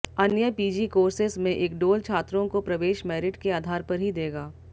अन्य PG courses में इक्डोल छात्रों को प्रवेश मैरिट के आधार पर ही देगा